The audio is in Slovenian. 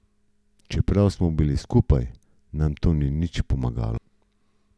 Čeprav smo bili skupaj, nam to ni nič pomagalo.